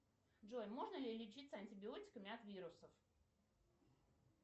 джой можно ли лечиться антибиотиками от вирусов